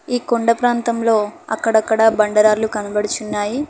ఈ కొండ ప్రాంతంలో అక్కడక్కడ బండరాళ్లు కనబడుచున్నాయి.